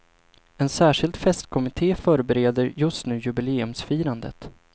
En särskild festkommitte förbereder just nu jubileumsfirandet.